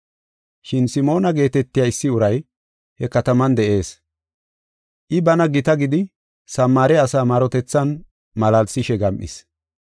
Shin Simoona geetetiya issi uray he kataman de7ees. I, “Bana gita” gidi Samaare asaa marotethan malaalsishe gam7is.